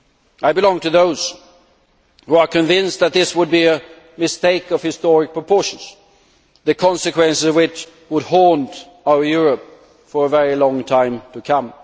I belong to those who are convinced that this would be a mistake of historic proportions, the consequences of which would haunt our Europe for a very long time to come.